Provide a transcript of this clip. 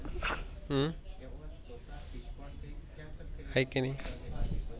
हयेकी नाही?